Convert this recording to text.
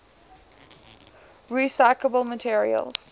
recyclable materials